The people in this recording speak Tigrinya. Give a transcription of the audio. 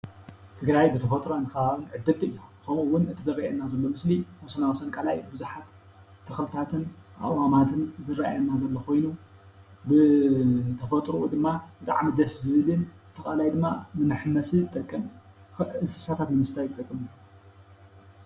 ትግራይ ብተፈጥሮን ኸባቢን ዕድልቲ እያ። ኸምኡ ውን እዚ ዝረኣየና ዘሎ ምስሊ ወሰናወሰን ቃላይ ቡዝሓት ተኽልታትን ኣእዋማትን ዝረኣየና ዘሎ ኾይኑ ብተፈጥርኡ ድማ ብጣዕሚ ደስ ዝብልን እቲ ቃላይ ድማ ንመሐመሲ ዝጠቅም እንስሳታት ንምስታይ ዝጠቅምን እዩ።